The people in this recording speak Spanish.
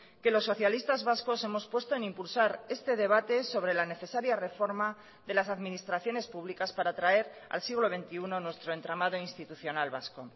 que los socialistas vascos hemos puesto en impulsar este debate sobre la necesaria reforma de las administraciones públicas para traer al siglo veintiuno nuestro entramado institucional vasco